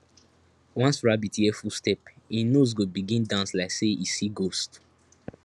once rabbit hear footstep in nose go begin dance like say e see ghost